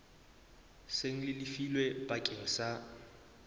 seng le lefilwe bakeng sa